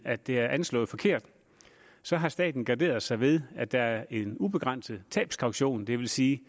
at det er anslået forkert så har staten garderet sig ved at der er en ubegrænset tabskaution det vil sige